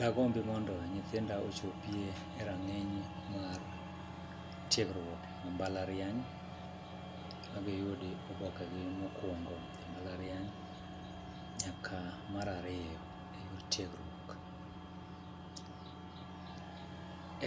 Dagombi mondo nyithinda ochopi e rang'iny mar tiegruok e mbalariany, ma giyudo oboke gi mokwongo e mbalariany, nyaka mar ariyo e yor tiegruok .